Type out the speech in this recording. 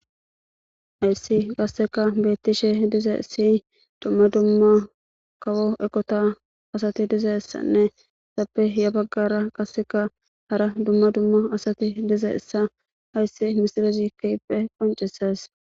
hayssi qasseka bettishe diza si dumma dumma kawo ekota asati dizayssanne sappe ya baggara qasseka hara dumma dumma asati diza issa hayssi misilezi kiyippe qoncesas